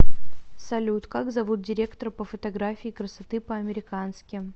салют как зовут директора по фотографии красоты по американски